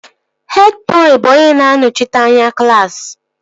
Hed bọị bụ onye na-anọchite anya klaasị